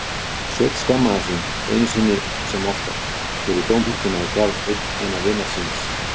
Sveinn skammaðist sín, einu sinni sem oftar, fyrir dómhörkuna í garð eina vinar síns.